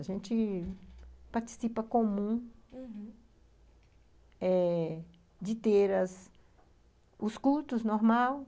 A gente... participa comum, uhum, eh de ter os cultos normais.